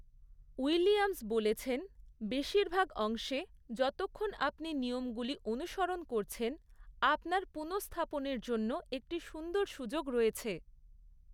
Williams বলেছেন, বেশিরভাগ অংশে, যতক্ষণ আপনি নিয়মগুলি অনুসরণ করছেন, আপনার পুনঃস্থাপনের জন্য একটি সুন্দর সুযোগ রয়েছে।